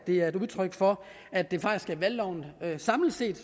det er et udtryk for at det faktisk er valgloven samlet set